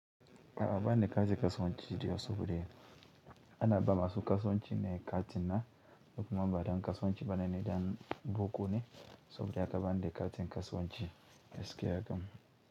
Ka ban ni kaje kasuwanci inje in sayo biredi. Ana ba masu kasuwanci ne kati na, duk mamba don kasuwanci bana ne don boko ne, saboda haka bani da kati kasuwanci gaskiya kam.